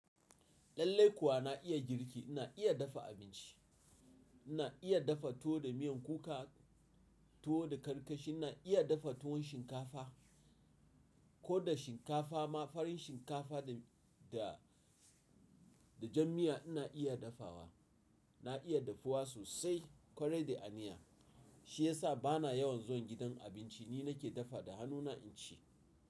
Lallaikuwa na iya girki, na iya dafa abinci, na iya dafa tuwo da miyan kuka, tuwo da karkashin na iya dafa tuwon shinkafa, ko da shinkafa ma farin shinkafa da, da, da jan miya ina iya dafawa. Na iya dafuwa sosai, ƙwarai da aniya. Shi ya sa ba na yawan zuwa gidan abinci, ni nake dafawa da hannuna in ci.